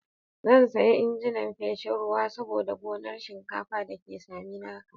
Zan saya injin feshin ruwa saboda gonar shinkafa da ke Saminaka.